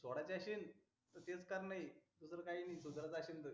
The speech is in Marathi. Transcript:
सोडा ची अशीनं त तेच करण्य दुसरं काही नि सुधऱ्याचं अशींन त